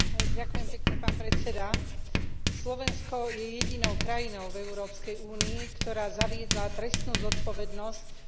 Slovensko je jedinou krajinou v Európskej únii, ktorá zaviedla trestnú zodpovednosť za popieranie genocídy Arménov.